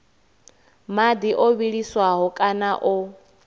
madi o vhiliswaho kana o